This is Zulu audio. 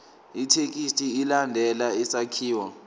ithekisthi ilandele isakhiwo